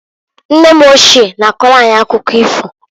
Nne m ochie na-akọlụ anyị akụkọ ifo.